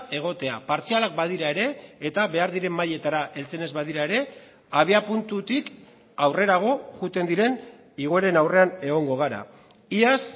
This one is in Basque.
egotea partzialak badira ere eta behar diren mailetara heltzen ez badira ere abiapuntutik aurrerago joaten diren igoeren aurrean egongo gara iaz